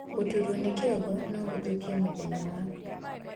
Guturwo ni kĩongo noguthukie mũthenya waku